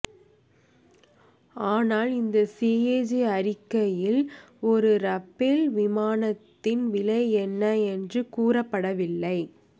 ஆனால் இந்த சிஏஜி அறிக்கையில் ஒரு ரபேல் விமானத்தின் விலை என்ன என்று கூறப்படவில்லை